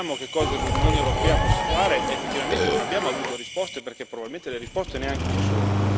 Ci chiediamo che cosa l'Unione europea possa fare ed effettivamente non abbiamo avuto risposte perché probabilmente le risposte neanche ci sono.